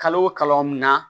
Kalo o kalo mun na